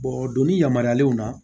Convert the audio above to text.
o doni yamaruyalenw na